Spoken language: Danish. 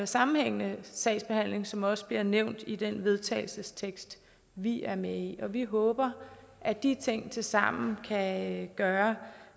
sammenhængende sagsbehandling som det også bliver nævnt i den vedtagelsestekst vi er med i og vi håber at de ting tilsammen kan gøre